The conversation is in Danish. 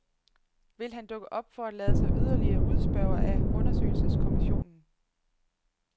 Vil han dukke op for at lade sig yderligere udspørge af undersøgelseskomissionen?